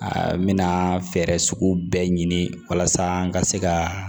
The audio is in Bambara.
Aa n bɛna fɛɛrɛ sugu bɛɛ ɲini walasa n ka se ka